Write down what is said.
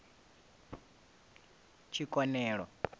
tshikonelo